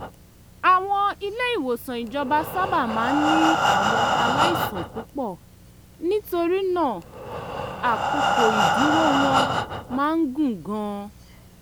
àwọn ilé-ìwòsàn ìjọba sábà máa ń ní àwọn aláìsàn púpọ̀ nítorí náà àkókò ìdúró wọn máa ń gùn gan-an